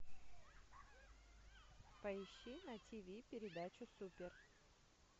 поищи на тв передачу супер